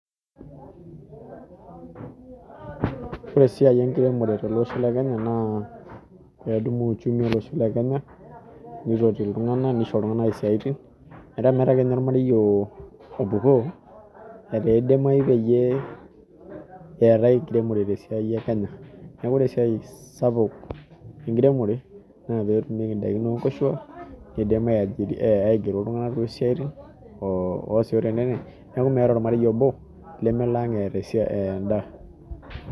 Ore esiai enkiremore tolosho lee Kenya naa eitadowuo uchumi olosho lee Kenya nitoti iltung'ana nishoo iltung'ana esiatin metaa metaa ake ninye ormarei opuko aa kidimai pee etae enkiremore tolosho lee Kenya neeku ore esiai sapuk enkiremore naa petumieki edaiki oo nkoshuak kidim aigero iltung'ana too siatin oo neeku meetae ormarei I obo lemelo ang etaa endaa